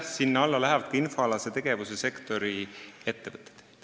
Jah, sinna alla lähevad ka infoalase tegevuse sektori ettevõtted.